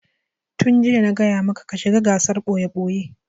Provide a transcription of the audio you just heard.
Tun jiya fa na gaya maka ka shiga gasar ɓoye-ɓoye!